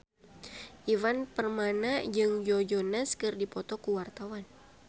Ivan Permana jeung Joe Jonas keur dipoto ku wartawan